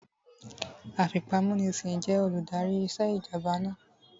Afipámúnisìn jẹ́ olùdarí ìṣèjọba náà